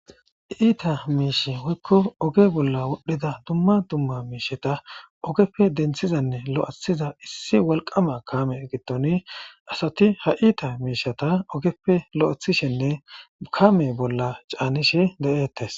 Iita miishe woykko oge bolla wodhdhida dumma dumma miisheta ogeppe denthizanne lo'athiza issi wilqqama kaame ngiddon asati ha iita miishata ogeppe lo'athishenne kaame bolla caanishe de'etersi.